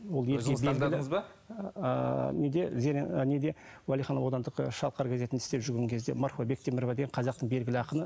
неде ыыы неде уалиханов аудандық шалқар газетінде істеп жүрген кезде марфуға бектемірова деген қазақтың белгіді ақыны